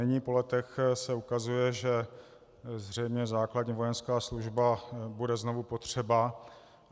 Nyní po letech se ukazuje, že zřejmě základní vojenská služba bude znovu potřeba.